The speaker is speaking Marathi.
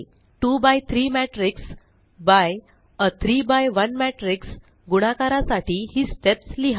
2एक्स3 मॅट्रिक्स बाय आ 3एक्स1 मॅट्रिक्स गुणाकरासाठी ही स्टेप्स लिहा